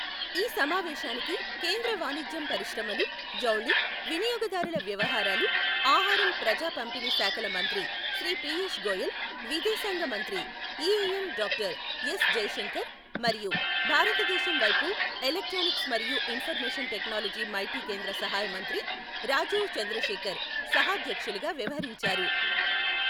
ఈ సమావేశానికి కేంద్ర వాణిజ్యం పరిశ్రమలు, జౌళి, వినియోగదారుల వ్యవహారాలు, ఆహారం ప్రజా పంపిణీ శాఖల మంత్రి శ్రీ పియూష్ గోయల్, విదేశాంగ మంత్రి ఈఏఎం డాక్టర్ ఎస్ జైశంకర్ మరియు భారతదేశం వైపు ఎలక్ట్రానిక్స్ మరియు ఇన్ఫర్మేషన్ టెక్నాలజీ మైటీ కేంద్ర సహాయ మంత్రి రాజీవ్ చంద్రశేఖర్ సహాధ్యక్షులుగా వ్యవహరించారు.